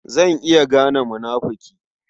Zan iya gane munafuki.